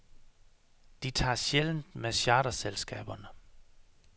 De tager sjældent med charterselskaberne.